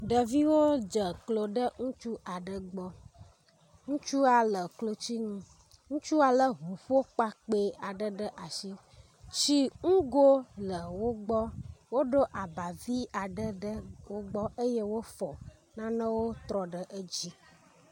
Ɖeviwo dze klo ɖe ŋutsu aɖe gbɔ. Ŋutsua le klotsi nu. Ŋutsua lé ŋuƒokpakpɛ aɖe ɖe asi. Tsi ngo le wo gbɔ. Woɖo aba vi aɖe ɖe wo gbɔ eye wofɔ nanewo trɔ ɖe edzi.